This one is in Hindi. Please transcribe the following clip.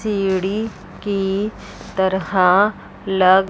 सीढ़ी की तरह लग--